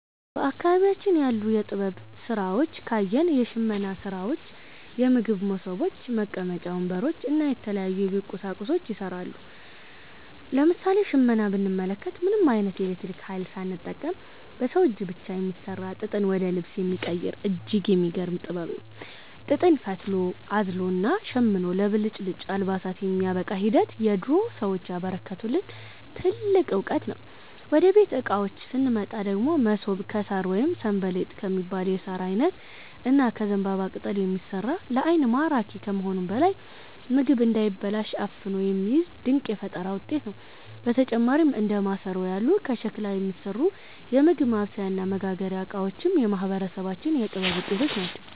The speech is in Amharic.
በአካባቢያችን ያሉ የጥበብ ሥራዎችን ካየን፣ የሽመና ሥራዎች፣ የምግብ መሶቦች፣ መቀመጫ ወንበሮች እና የተለያዩ የቤት ቁሳቁሶች ይሠራሉ። ለምሳሌ ሽመናን ብንመለከት፣ ምንም ዓይነት የኤሌክትሪክ ኃይል ሳይጠቀም በሰው እጅ ብቻ የሚሠራ፣ ጥጥን ወደ ልብስ የሚቀይር እጅግ የሚገርም ጥበብ ነው። ጥጥን ፈትሎ፣ አዝሎና ሸምኖ ለብልጭልጭ አልባሳት የሚያበቃበት ሂደት የድሮ ሰዎች ያበረከቱልን ትልቅ ዕውቀት ነው። ወደ ቤት ዕቃዎች ስንመጣ ደግሞ፣ መሶብ ከሣር ወይም 'ሰንበሌጥ' ከሚባል የሣር ዓይነት እና ከዘንባባ ቅጠል የሚሠራ፣ ለዓይን ማራኪ ከመሆኑም በላይ ምግብ እንዳይበላሽ አፍኖ የሚይዝ ድንቅ የፈጠራ ውጤት ነው። በተጨማሪም እንደ ማሰሮ ያሉ ከሸክላ የሚሠሩ የምግብ ማብሰያና መመገቢያ ዕቃዎችም የማህበረሰባችን የጥበብ ውጤቶች ናቸው።